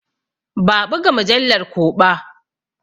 Ba a ɓuga mujallar ko ɓa.